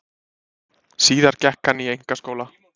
Síðar gekk hann í einkaskóla.